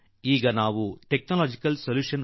ಈಗ ನಾವು ತಾಂತ್ರಿಕ ಪರಿಹಾರ ಕಂಡುಕೊಳ್ಳಬೇಕಾಗಿದೆ